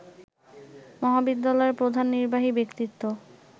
মহাবিদ্যালয়ের প্রধান নির্বাহী ব্যক্তিত্ব